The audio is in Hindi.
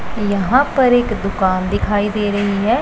यहां पर एक दुकान दिखाई दे रही है।